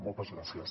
moltes gràcies